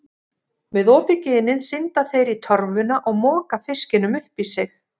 Með opið ginið synda þeir í torfuna og moka fiskinum upp í sig.